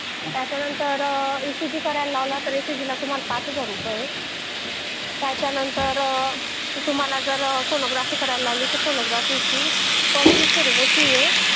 तुम्हाला जर इसीजी करायला लावला तर त्याची पाच हजार रुपये फी आहे आणि जर सोनोग्राफी करायला लावली तर त्याच्यासाठी अडीच हजार रुपये फ्री आहे